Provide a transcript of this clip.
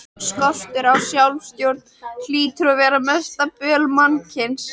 Skortur á sjálfsstjórn hlýtur að vera mesta böl mannkyns.